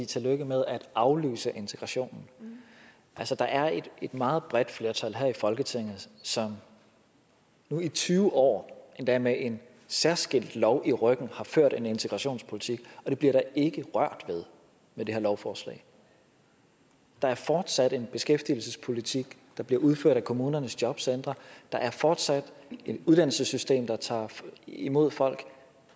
tillykke med at aflyse integrationen altså der er et meget bredt flertal her i folketinget som nu i tyve år endda med en særskilt lov i ryggen har ført en integrationspolitik og det bliver der ikke rørt ved med det her lovforslag der er fortsat en beskæftigelsespolitik der bliver udført af kommunernes jobcentre der er fortsat et uddannelsessystem der tager imod folk